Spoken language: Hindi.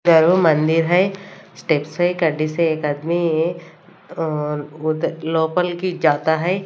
मंदिर हैं स्टेपसे गाड़ीसे एक आदमी लोकल की जाता हैं।